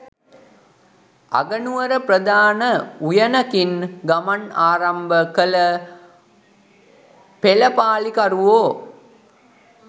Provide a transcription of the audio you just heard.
අගනුවර ප්‍රධාන උයනකින් ගමන් ආරම්භ කළ පෙළපාලිකරුවෝ